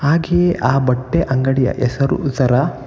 ಹಾಗೆ ಆ ಬಟ್ಟೆ ಅಂಗಡಿಯ ಹೆಸರು ಜರಾ .